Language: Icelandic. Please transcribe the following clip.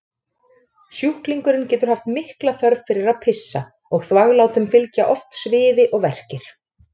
Sjúklingurinn getur haft mikla þörf fyrir að pissa og þvaglátum fylgja oft sviði og verkir.